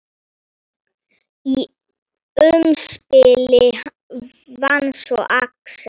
Í umspili vann svo Axel.